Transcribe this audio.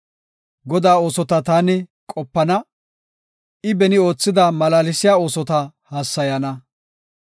Godaa oosota taani qopana; I beni oothida malaalsiya oosota hassayana.